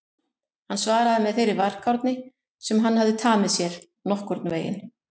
Hann svaraði með þeirri varkárni sem hann hafði tamið sér: Nokkurn veginn